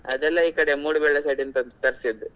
ಅದೆಲ್ಲಾಈ ಕಡೆ Moodu Belle side ಇಂದ ತರಿಸಿದ್ದು.